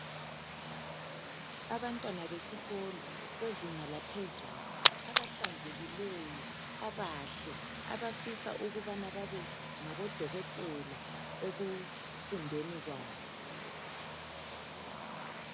Abantwana besikolo sezinga laphezulu abahlanzelikeyo abahle Abafisa ukubana babe ngabodokotela ekufundeni kwabo